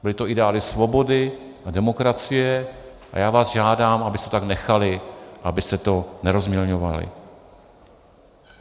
Byly to ideály svobody a demokracie a já vás žádám, abyste to tak nechali, abyste to nerozmělňovali.